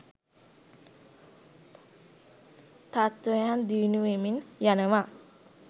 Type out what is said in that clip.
තත්ත්වයන් දියුණුවෙමින් යනවා.